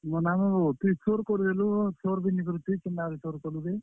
ମନାମୁ ବୋ, ତୁଇ ସୋର୍ କରିଦେଲୁ ବୋ, ସୋର ବି ନିଁ କରିଥାଇ କେନ୍ତା କରି ସୋର୍ କଲୁଯେ।